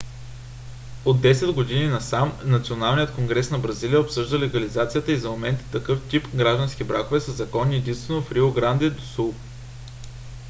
от 10 години насам националният конгрес на бразилия обсъжда легализацията и за момента такъв тип граждански бракове са законни единствено в рио гранде до сул